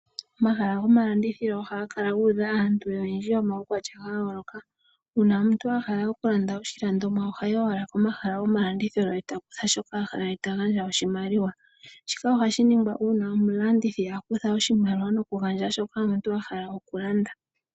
Omahala gomalandithilo ohaga kala guudha aantu oyendji yomaukwatya ga yooloka. Uuna omuntu a hala okulanda oshilandomwa ohayi owala komahala gomalandithilo eta kutha shoka a hala eta gandja oshimaliwa. Shika ohashi ningwa uuna omulandithi a kutha oshimaliwa noku gandja shoka omuntu a hala okulanda.